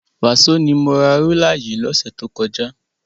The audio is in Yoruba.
Wàsó ni mo ra rúlà yìí lọ́sẹ̀ tó kọjá.